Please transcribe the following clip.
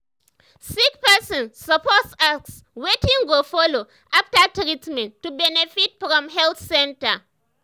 sick person suppose ask wetin go follow after treatment to benefit from health center.